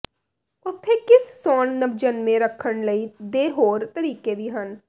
ਉੱਥੇ ਕਿਸ ਸੌਣ ਨਵਜੰਮੇ ਰੱਖਣ ਲਈ ਦੇ ਹੋਰ ਤਰੀਕੇ ਵੀ ਹਨ